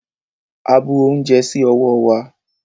A bu ounjẹ sí ọwọ́ wa.